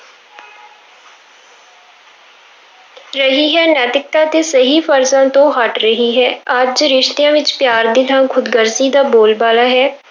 ਰਹੀ ਹੈ, ਨੈਤਿਕਤਾ ਤੇ ਸਹੀ ਫ਼ਰਜ਼ਾਂ ਤੋਂ ਹਟ ਰਹੀ ਹੈ, ਅੱਜ ਰਿਸ਼ਤਿਆਂ ਵਿੱਚ ਪਿਆਰ ਦੀ ਥਾਂ ਖ਼ੁਦਗਰਜ਼ੀ ਦਾ ਬੋਲ ਬਾਲਾ ਹੈ।